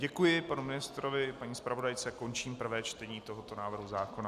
Děkuji panu ministrovi, paní zpravodajce a končím prvé čtení tohoto návrhu zákona.